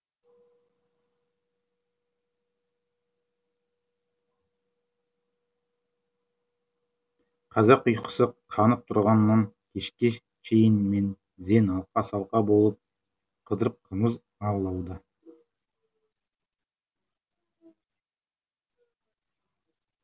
қазақ ұйқысы қанып тұрғаннан кешке шейін мең зең алқа салқа болып қыдырып қымыз аулауда